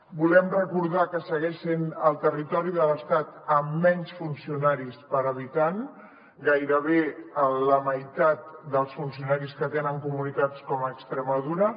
volem recordar que segueix sent el territori de l’estat amb menys funcionaris per habitant gairebé la meitat dels funcionaris que tenen comunitats com extremadura